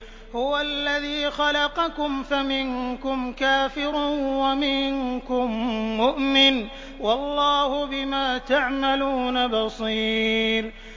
هُوَ الَّذِي خَلَقَكُمْ فَمِنكُمْ كَافِرٌ وَمِنكُم مُّؤْمِنٌ ۚ وَاللَّهُ بِمَا تَعْمَلُونَ بَصِيرٌ